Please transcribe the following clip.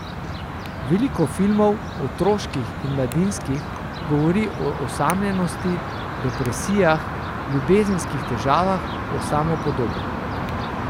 Veliko filmov, otroških in mladinskih, govori o osamljenosti, depresijah, ljubezenskih težavah, o samopodobi.